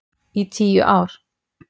Í tíu ár!